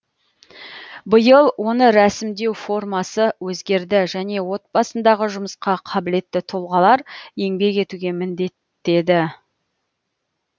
биыл оны рәсімдеу формасы өзгерді және отбасындағы жұмысқа қабілетті тұлғалар еңбек етуге міндетті